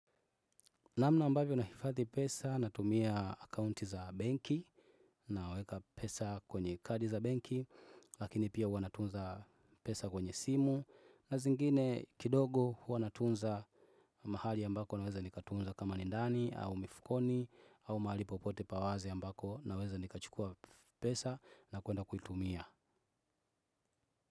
Namna ambavyo nahifadhi pesa natumia akaunti za benki, naweka pesa kwenye kadi za benki lakini pia huwa natunza pesa kwenye simu na zingine kidogo huwa natunza mahali ambako naweza nikatunza kama ni ndani au mifukoni au mahali popote pa wazi ambako naweza nikachukua pesa na kwenda kuitumia.